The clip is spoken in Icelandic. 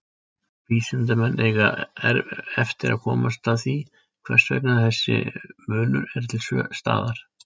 Vísindamenn eiga eftir að komast að því hvers vegna þessi munur er til staðar.